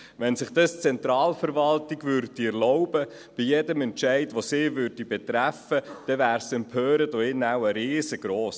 Wenn sich die Zentralverwaltung dies bei jedem Entscheid, der sie betrifft, erlauben würde, wäre die Empörung hier drin wohl riesengross.